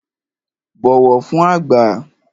Bọ̀wọ̀ fün àgbà!